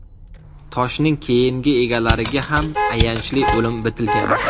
Toshning keyingi egalariga ham ayanchli o‘lim bitilgan.